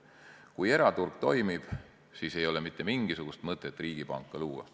Kui eraturg toimib, siis ei ole mitte mingisugust mõtet riigipanka luua.